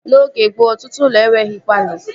N'oge gboo, ọtụtụ ụlọ enweghị palọ